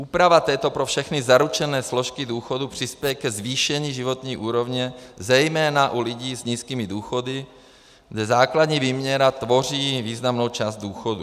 Úprava této pro všechny zaručené složky důchodu přispěje ke zvýšení životní úrovně zejména u lidí s nízkými důchody, kde základní výměra tvoří významnou část důchodu.